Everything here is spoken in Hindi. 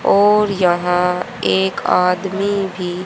और यहां एक आदमी भी--